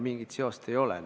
Mingit seost ei ole.